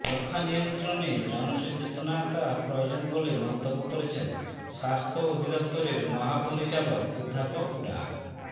যক্ষ্মা নিয়ন্ত্রণে জনসচেতনতা প্রয়োজন বলে মন্তব্য করেছেন স্বাস্থ্য অধিদফতরের মহাপরিচালক অধ্যাপক ডা